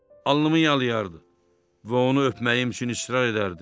Alnımı yalardı və onu öpməyim üçün israr edərdi.